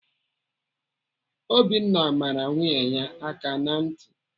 Obinna mara nwunye ya aka ntị.